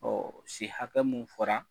si hakɛ minnu fɔra.